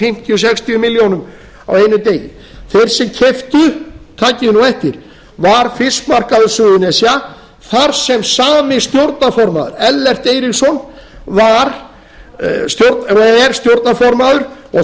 fimmtíu til sextíu milljónir á þessum eina degi þeir sem keyptu takið þið nú eftir var fiskmarkaður suðurnesja þar sem sami stjórnarformaður ellert eiríksson er stjórnarformaður og